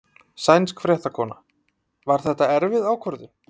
Sænsk fréttakona: Var þetta erfið ákvörðun?